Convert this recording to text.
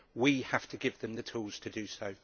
We have to give them the tools to do so.